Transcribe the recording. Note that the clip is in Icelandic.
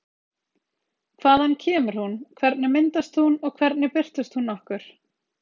Hvaðan kemur hún, hvernig myndast hún og hvernig birtist hún okkur?